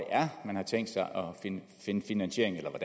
finde finansiering